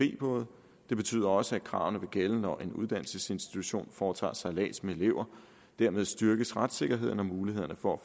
både det betyder også at kravene vil gælde når en uddannelsesinstitution foretager sejlads med elever dermed styrkes retssikkerheden og mulighederne for at